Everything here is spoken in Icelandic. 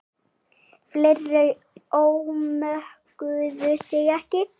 Fleiri ómökuðu sig ekki.